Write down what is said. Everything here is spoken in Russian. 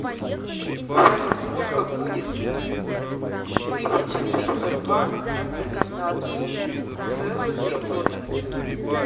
салют сколько будет тысяча триста два разделить на одну целую три сотых